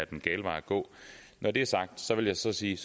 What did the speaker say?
den gale vej at gå når det er sagt vil jeg så sige